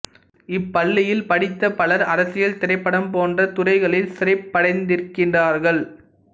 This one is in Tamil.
இப்பள்ளியில் படித்த பலர் அரசியல் திரைப்படம் போன்ற துறைகளில் சிறப்படைந்திருக்கிறார்கள்